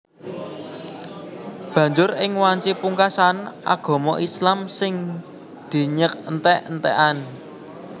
Banjur ing wanci pungkasan agama Islam sing dinyèk entèk entèkan